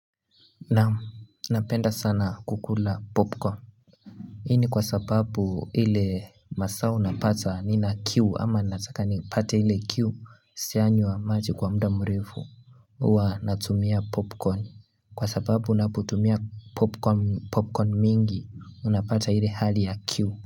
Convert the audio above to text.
Naamu, napenda sana kukula popcorn Hini kwa sababu ile masaa unapata ninakiu ama nataka ni pate ile kiu sianywa maji kwa muda mrefu huwa natumia popcorn kwa sababu unapotumia popcorn mingi unapata ile hali ya kiu.